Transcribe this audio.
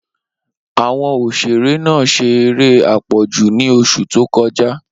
Awọn oṣere naa ṣe ere apọju ni oṣu to kọja